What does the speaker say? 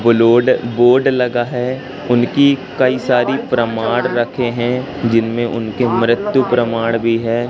वो लोड बोर्ड लगा है उनकी कई सारी प्रमाण रखे हैं जिनमें उनके मृत्यु प्रमाण भी है।